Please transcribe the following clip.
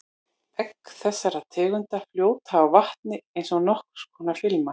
Egg þessarar tegundar fljóta á vatni eins og nokkurs konar filma.